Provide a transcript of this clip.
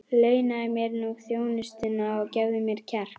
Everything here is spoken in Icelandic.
Launaðu mér nú þjónustuna og gefðu mér kjark!